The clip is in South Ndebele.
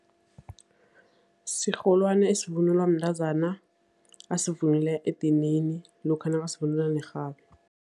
Sirholwani esivunulwa mntazana, asivunula edinini lokha nakasivunula nerhabi.